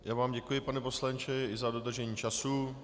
Já vám děkuji, pane poslanče, i za dodržení času.